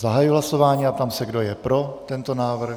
Zahajuji hlasování a ptám se, kdo je pro tento návrh.